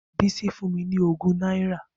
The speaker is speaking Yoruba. Bisi fun mi ni ogun naira.